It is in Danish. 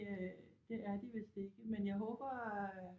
Det er de vidst ikke men jeg håber